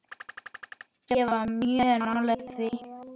Ég var mjög nálægt því.